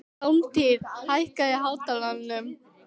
Hjálmtýr, hækkaðu í hátalaranum.